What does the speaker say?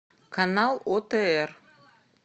канал отр